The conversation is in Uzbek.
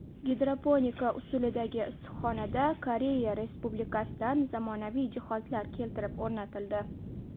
Gidroponika usulidagi issiqxonada Koreya Respublikasidan zamonaviy jihozlar keltirib o‘rnatildi.